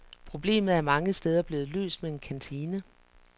Problemet er mange steder blevet løst med en kantine.